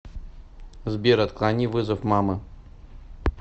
сбер отклони вызов мамы